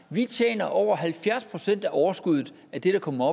vi tjener over halvfjerds procent af overskuddet af det der kommer